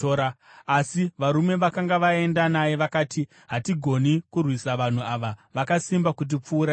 Asi varume vakanga vaenda naye vakati, “Hatigoni kurwisa vanhu ava; vakasimba kutipfuura isu.”